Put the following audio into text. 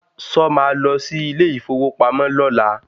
Sọ ma lọ sí ilé ìfowópamọ́ lọ́la?